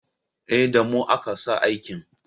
Eh, Da mu aka sa aikin